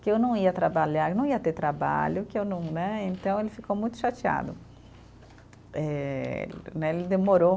Que eu não ia trabalhar, eu não ia ter trabalho, que eu não né, então ele ficou muito chateado. Eh, né, ele demorou